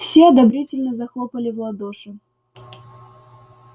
все одобрительно захлопали в ладоши